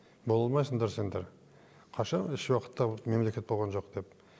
бола алмайсыңдар сендер қашан ешуақытта мемлекет болған жоқ деп